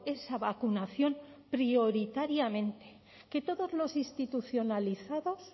esa vacunación prioritariamente que todos los institucionalizados